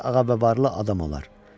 Bir ağa və varlı adam olar.